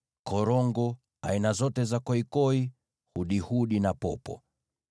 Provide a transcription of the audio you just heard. korongo, koikoi wa aina yoyote, hudihudi na popo.